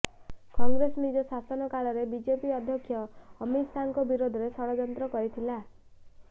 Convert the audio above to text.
କଂଗ୍ରେସ ନିଜ ଶାସନକାଳରେ ବିଜେପି ଅଧ୍ୟକ୍ଷ ଅମିତ ଶାହାଙ୍କ ବିରୋଧରେ ଷଡ଼ଯନ୍ତ୍ର କରିଥିଲା